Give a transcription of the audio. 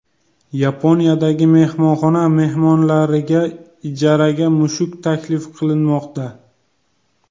Yaponiyadagi mehmonxona mehmonlariga ijaraga mushuk taklif qilinmoqda.